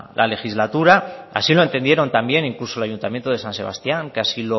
la legislatura así lo entendieron también incluso el ayuntamiento de san sebastián que así